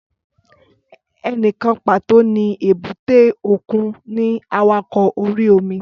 Ẹnìkan pàtó ní èbúté òkun ní awakọ̀ orí-omi